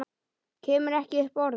Kemur ekki upp orði.